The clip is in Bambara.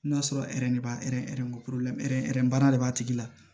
N'a sɔrɔ de b'a baara de b'a tigi la